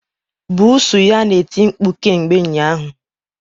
Buusu ya na-eti mkpu kemgbe ụnyaahụ